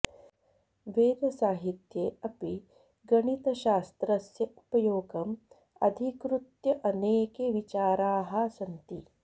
वेदसाहित्ये अपि गणितशास्त्रस्य उपयोगम् अधिकृत्य अनेके विचाराः सन्ति